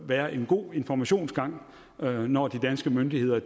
være en god informationsgang når de danske myndigheder